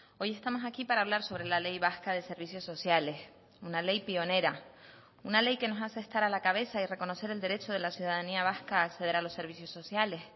hoy estamos aquí para hablar sobre la ley vasca de servicios sociales una ley pionera una ley que nos hace estar a la cabeza y reconocer el derecho de la ciudadanía vasca a acceder a los servicios sociales